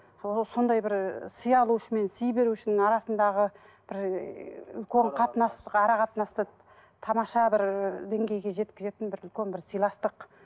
ы сондай бір сый алушы мен сый берушінің арасындағы бір үлкен қатынас ара қатынасты тамаша бір деңгейге жеткізетін бір үлкен бір сыйластық